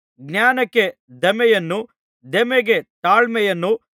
ಜ್ಞಾನಕ್ಕೆ ದಮೆಯನ್ನೂ ದಮೆಗೆ ತಾಳ್ಮೆಯನ್ನೂ